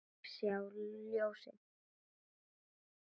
Ég sá ljósið